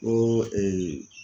Ko